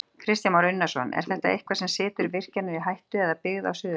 Kristján Már Unnarsson: Er þetta eitthvað sem situr virkjanir í hættu eða byggð á Suðurlandi?